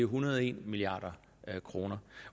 hundrede og en milliard kroner